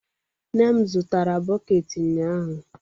Nne m zụtara bọket ụnyaahụ.